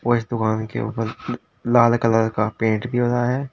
इस दुकान के ऊपर ल लाल कलर का पेंट भी हुआ है।